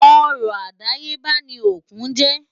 Ọrọ̀ àdáyébá ni òkun jẹ́.